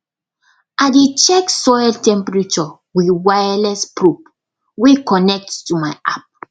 i dey check soil temperature with wireless probe wey connect to my app